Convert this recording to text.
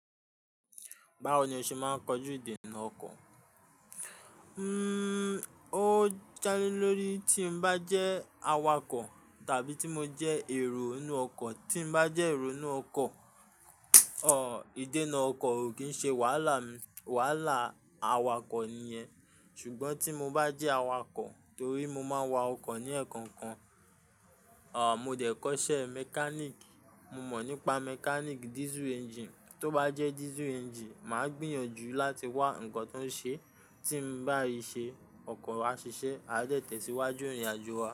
Báwo ni o ṣe máa ń kojú ìdènà ọkọ̀? Hmm o jálé lórí tí n bá jẹ́ awakọ̀ tàbí tí mo jẹ́ èrò inú ọkọ̀. Tí mo bá jẹ́ èrò inú ọkọ̀, òh ìdènà ọkọ̀ o kì í ṣe wàhálà mi, wàhálà awakọ̀ nìyẹn. Ṣùgbọ́n tí mo bá jẹ́ awakọ̀ torí mo máa ń wa ọkọ̀ ní ẹ̀ẹ̀kọkan, òh mo dẹ̀ kọ́ṣẹ́ mechanic. Mo mọ̀ nípa mechanic diesel engine. Tó bá jẹ́ diesel engine, màá gbìyànjú láti wá ǹkan tó ń ṣe, tí ń bá ri ṣe, ọkọ̀ wa a ṣiṣẹ́, a dẹ̀ tẹ̀síwájú ìrìnàjò wa.